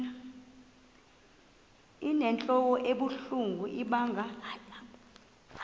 inentlok ebuhlungu ibanga